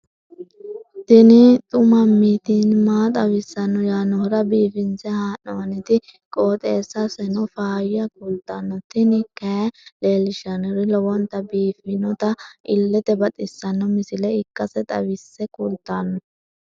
tini xuma mtini maa xawissanno yaannohura biifinse haa'noonniti qooxeessano faayya kultanno tini kayi leellishshannori lowonta biiffinota illete baxissanno misile ikkase xawisse kultanno.